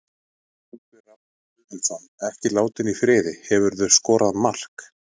Ingvi Rafn Guðmundsson, ekki látinn í friði Hefurðu skorað sjálfsmark?